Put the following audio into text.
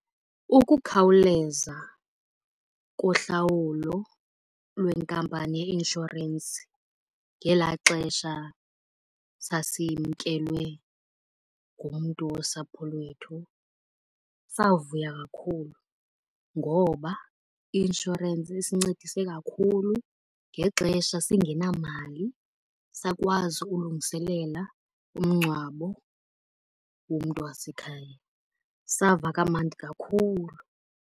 Ukukhawuleza kohlawulo lwenkampani yeinshorensi ngelaa xesha sasimkelwe ngumntu wosapho lwethu savuya kakhulu. Ngoba i-inshorensi isincedise kakhulu ngexesha singenamali sakwazi ukulungiselela umngcwabo womntu wasekhaya, sava kamandi kakhulu.